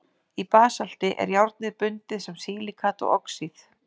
í basalti er járnið bundið sem silíkat og oxíð